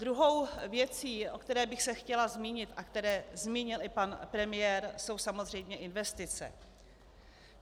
Druhou věcí, o které bych se chtěla zmínit a kterou zmínil i pan premiér, jsou samozřejmě investice.